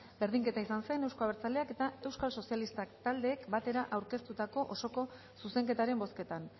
berdinketa izan zen euzko abertzaleak eta euskal sozialistak taldeek batera aurkeztutako osoko zuzenketaren bozketan